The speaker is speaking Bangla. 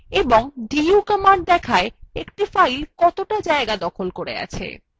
এবং du command দেখায় একটি file কতটা স্থান দখল করে আছে